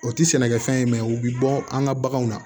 O tɛ sɛnɛkɛfɛn ye mɛ u bɛ bɔ an ka baganw na